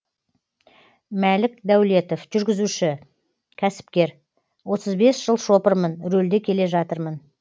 мәлік дәулетов жүргізуші кәсіпкер отыз бес жыл шопырмын рөлде келе жатырмын